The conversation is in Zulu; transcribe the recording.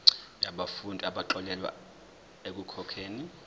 yabafundi abaxolelwa ekukhokheni